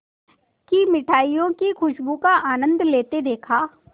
की मिठाइयों की खूशबू का आनंद लेते देखा